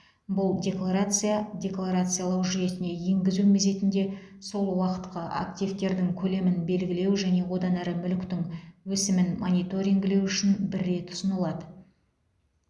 бұл декларация декларациялау жүйесіне енгізу мезетінде сол уақытқа активтердің көлемін белгілеу және одан әрі мүліктің өсімін мониторингілеу үшін бір рет ұсынылады